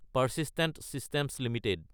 persistent Systems Ltd